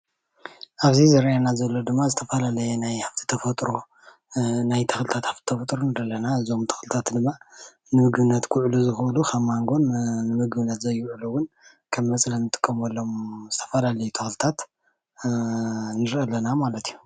ኣብዚ ዝርኣየና ዘሎ ድማ ዝተፋላለየ ናይ ሃፍቲ ተፈጥሮ ናይ ተክልታት ሃፍቲ ተፈጥሮ ንርኢ ኣለና እዞም ተክልታት ድማ ንምግብነት ክዉዕሉ ከም ማንጎን ንምግብነት ዘይዉዕሉ እዉን ከም መፅለሊ እንጥቀመሎም ዝተፋላለየ ተክልታት ንርኢ አለና ማለት እዩ፡፡